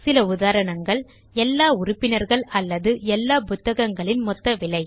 சில உதாரணங்கள் எல்லா உறுப்பினர்கள் அல்லது எல்லா புத்தகங்களின் மொத்த விலை